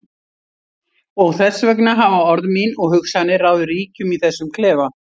Og þess vegna hafa orð mín og hugsanir ráðið ríkjum í þessum klefa.